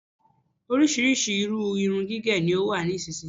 Oríṣríṣi irú irun gígẹ ni ó wà nísìyí.